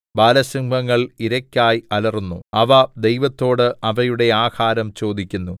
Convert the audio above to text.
ബാലസിംഹങ്ങൾ ഇരയ്ക്കായി അലറുന്നു അവ ദൈവത്തോട് അവയുടെ ആഹാരം ചോദിക്കുന്നു